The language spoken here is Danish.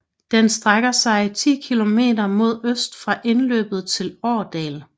Den strækker sig 10 kilometer mod øst fra indløbet til Årdal